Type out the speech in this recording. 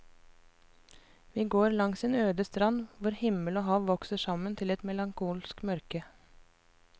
Vi går langs en øde strand hvor himmel og hav vokser sammen til et melankolsk mørke.